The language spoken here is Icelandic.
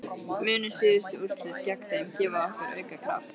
Munu síðustu úrslit gegn þeim gefa okkur auka kraft?